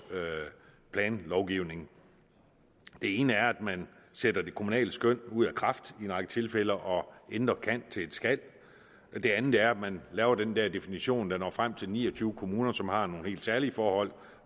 planlovgivning det ene er at man sætter det kommunale skøn ud af kraft i en række tilfælde og ændrer et kan til skal det andet er at man laver den her definition der når frem til ni og tyve kommuner som har nogle helt særlige forhold